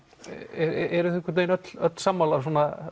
einhvern vegin öll öll sammála